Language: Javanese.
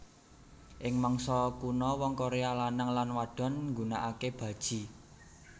Ing mangsa kuno wong Korea lanang lan wadon nggunakake baji